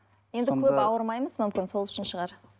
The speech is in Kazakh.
енді көп ауырмаймыз мүмкін сол үшін шығар